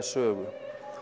sögu